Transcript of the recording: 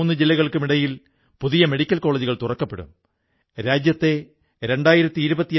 മഹർഷി വാൽമീകിയുടെ മഹത്തായ ചിന്തകൾ കോടിക്കണക്കിന് ആളുകൾക്ക് പ്രേരണയാകുന്നു ശക്തി പ്രദാനം ചെയ്യുന്നു